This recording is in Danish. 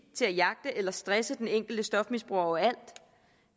til at jagte eller stresse den enkelte stofmisbruger overalt